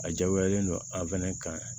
A diyagoyalen don a fɛnɛ kan